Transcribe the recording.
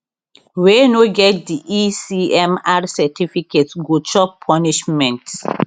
wey no get di ecmr certificates go chop punishment